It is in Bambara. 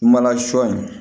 Mana sɔ in